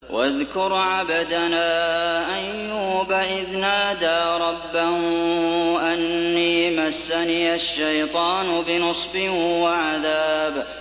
وَاذْكُرْ عَبْدَنَا أَيُّوبَ إِذْ نَادَىٰ رَبَّهُ أَنِّي مَسَّنِيَ الشَّيْطَانُ بِنُصْبٍ وَعَذَابٍ